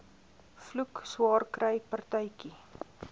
vloek swaarkry partytjie